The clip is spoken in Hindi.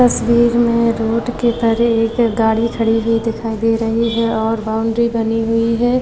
तस्वीर में रोड के तरे एक गाड़ी खड़ी हुई दिखाई दे रही है और बाउंड्री बनी हुई है।